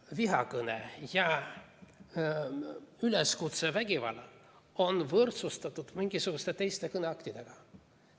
Vihakõne ja üleskutse vägivallale on võrdsustatud mingisuguste teiste kõneaktidega.